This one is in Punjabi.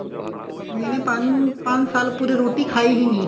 ਮੈਨੇ ਮੈਂ ਪੰਜ ਸਾਲ pure ਰੋਟੀ ਖਾਈ ਹੀ ਨਹੀਂ